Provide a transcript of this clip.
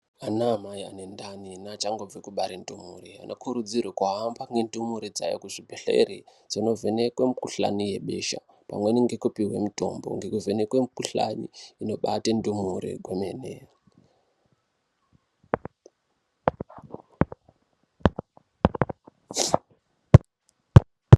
Ana mai ane ndai neaachangobve kubare ndumure anokurudziwre kuhambe nendumure dzawo kuzvibhedhleri Dzinovhenekwe mukhuhlani yebesha pamweni nekupuwe mutombo ngekuvhenekwe mukuhlani i obate ndumure kwemene.